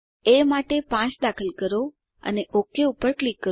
એ માટે 5 દાખલ કરો અને ઓક પર ક્લિક કરો